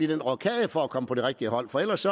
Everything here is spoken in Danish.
den rokade for at komme på det rigtige hold for ellers